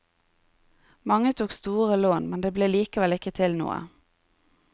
Mange tok store lån, men det ble likevel ikke til noe.